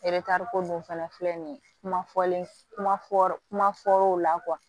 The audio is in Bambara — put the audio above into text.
ko dun fana filɛ nin ye kuma fɔlen kuma fɔ kuma fɔl'o la